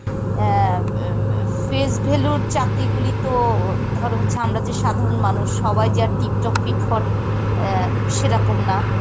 অ্যাঁ ম~ এফ~ face value এর চাকরি গুলি তো ধরো হচ্ছে আমরা যে সাধারন মানুষ সবাই যে আর tiptop fitfat অ্যাঁ সেরকম না.